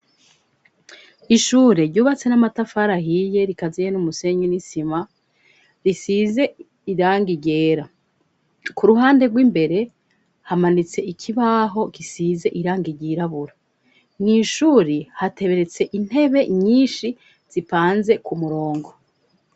Ishure ryubatse n'amatafari ahiye rikaziye n' umusenyi n'isima, risize irangi ryera. Ku ruhande rw'imbere hamanitse ikibaho gisize irangigi ryirabura. Mw' ishuri hateretse intebe nyinshi zipanze ku murongo.